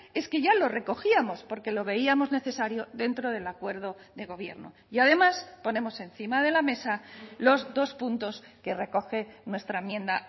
es que ya lo recogíamos porque lo veíamos necesario dentro del acuerdo de gobierno y además ponemos encima de la mesa los dos puntos que recoge nuestra enmienda